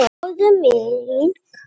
Fáðu mink.